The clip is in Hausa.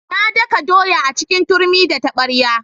Na daka doya a cikin turmi da taɓarya.